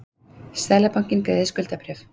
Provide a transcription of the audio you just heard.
Seðlabankinn greiðir skuldabréf